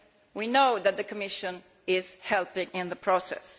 We know that the Commission is helping in that process.